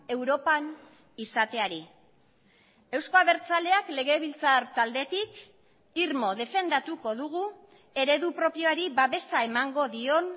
europan izateari eusko abertzaleak legebiltzar taldetik irmo defendatuko dugu eredu propioari babesa emango dion